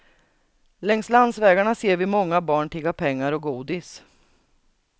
Längs landsvägarna ser vi många barn tigga pengar och godis.